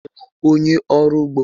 Ị bụ onyé ọrụ úgbó?